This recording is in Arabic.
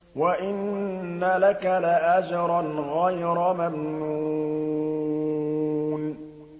وَإِنَّ لَكَ لَأَجْرًا غَيْرَ مَمْنُونٍ